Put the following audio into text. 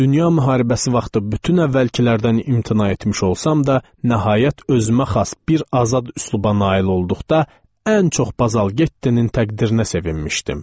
Dünya müharibəsi vaxtı bütün əvvəlkilərdən imtina etmiş olsam da, nəhayət özümə xas bir azad üsluba nail olduqda ən çox Bazal Gettanın təqdirinə sevinmişdim.